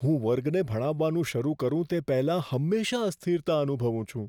હું વર્ગને ભણાવવાનું શરૂ કરું તે પહેલાં હંમેશાં અસ્થિરતા અનુભવું છું.